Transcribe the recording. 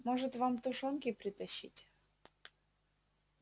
может вам тушёнки притащить